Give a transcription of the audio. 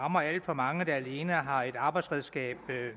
rammer alt for mange der alene har et arbejdsredskab